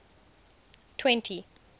twenty